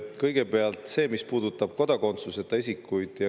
Kõigepealt see, mis puudutab kodakondsuseta isikuid.